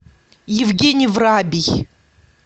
евгений врабий